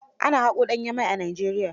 Ana haƙo danyen mai a Nigeria.